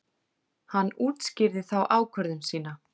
Hann útskýrði þá ákvörðun sína.